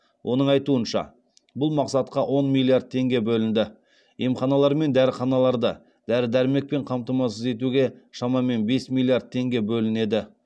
оның айтуынша бұл мақсатқа он миллиард теңге бөлінді емханалар мен дәріханаларды дәрі дәрмекпен қамтамасыз етуге шамамен бес миллиард теңге бөлінеді